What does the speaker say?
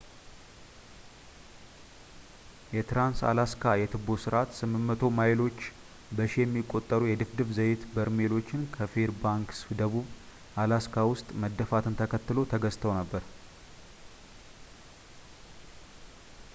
የትራንስ-አላስካ የትቦ ስርዓት 800 ማይሎች በሺ የሚቆጠሩ የድፍድፍ ዘይት በርሜሎች ከፌርባንክስ ደቡብ ፣ አላስካ ውስጥ መደፋትን ተከትሎ ተዘግተው ነበር